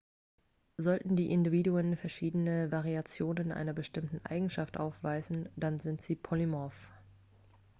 sollten die individuen verschiedene variationen einer bestimmten eigenschaft aufweisen dann sind sie polymorph